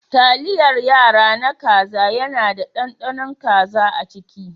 Taliyar yara na kaza yana da ɗanɗanon kaza a ciki.